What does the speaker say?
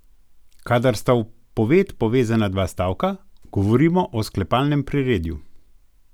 Kadar sta v poved povezana dva stavka, govorimo o sklepalnem priredju.